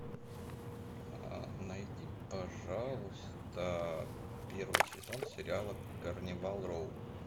найди пожалуйста первый сезон сериала карнивал роу